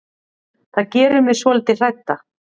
Það gerir mig svolítið hrædda.